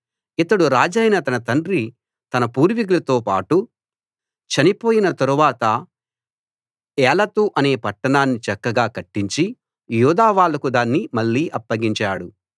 ఇతడు రాజైన తన తండ్రి తన పూర్వీకులతోబాటు చనిపోయిన తరువాత ఏలతు అనే పట్టణాన్ని చక్కగా కట్టించి యూదా వాళ్లకు దాన్ని మళ్ళీ అప్పగించాడు